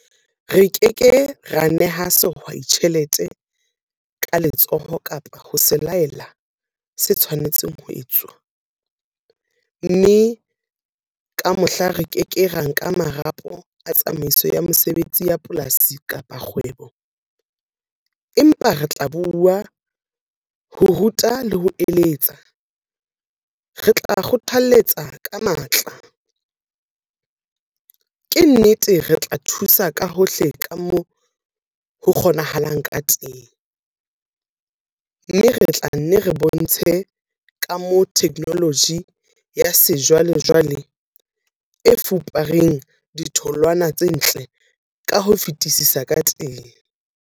Re ke ke ra neha sehwai tjhelete ka letsoho kapa ho se laela se tshwanetseng ho etswa, mme le ka mohla re ke ke ra nka marapo a tsamaiso ya mesebetsi ya polasi kapa kgwebo - empa RE TLA BUA, ho ruta le ho eletsa - RE TLA kgothaletsa ka matla - ke nnete RE TLA thusa ka hohle ka moo ho kgonahalang ka teng, mme RE TLA nne re bontshe ka moo theknoloji ya sejwalejwale e fupereng ditholwana tse ntle ka ho fetisisa ka teng.